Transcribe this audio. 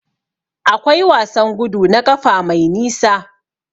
Akwai wasan gudu na ƙafa mai nisa.